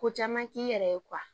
Ko caman k'i yɛrɛ ye